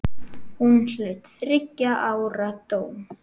Hún hlaut þriggja ára dóm.